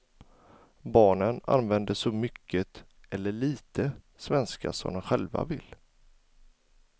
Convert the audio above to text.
Barnen använder så mycket, eller lite, svenska som de själva vill.